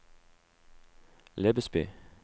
Lebesby